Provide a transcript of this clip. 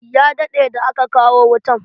Ya daɗe da aka kawo wutan.